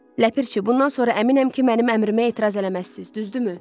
Ləpirçi, bundan sonra əminəm ki, mənim əmrimə etiraz eləməzsiz, düzdürmü?